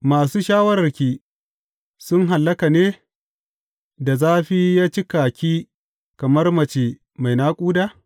Masu shawararki sun hallaka ne, da zafi ya cika ki kamar mace mai naƙuda?